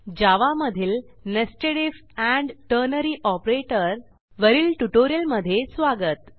जावा मधील nested if and ternary operator वरील ट्युटोरियलमध्ये स्वागत